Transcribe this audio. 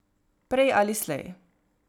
Prej ali slej.